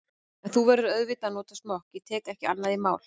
En þú verður auðvitað að nota smokk, ég tek ekki annað í mál.